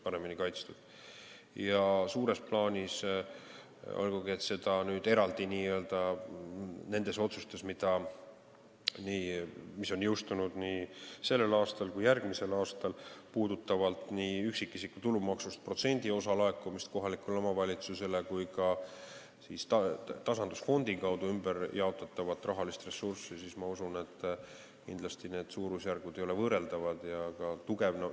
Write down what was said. Pidades silmas neid otsuseid, mis on jõustunud sellel aastal ja jõustuvad ka järgmisel aastal, puudutavalt nii üksikisiku tulumaksust protsendiosa laekumist kohalikele omavalitsustele kui ka tasandusfondi kaudu ümberjaotatavat rahalist ressurssi, ma usun, et need suurusjärgud ei ole suures plaanis võrreldavad.